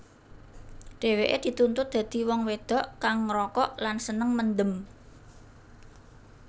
Dheweke dituntut dadi wong wedok kang ngrokok lan seneng mendem